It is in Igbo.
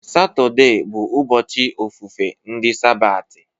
Satọde bụ ụbọchị ofufe ndị sabati.